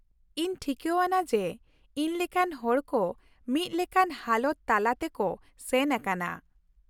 ᱤᱧ ᱴᱷᱤᱠᱟᱹᱣᱟᱱᱟ ᱡᱮ ᱤᱧ ᱞᱮᱠᱟᱱ ᱦᱚᱲ ᱠᱚ ᱢᱤᱫ ᱞᱮᱠᱟᱱ ᱦᱟᱞᱚᱛ ᱛᱟᱞᱟ ᱛᱮ ᱠᱚ ᱥᱮᱱ ᱟᱠᱟᱱᱟ ᱾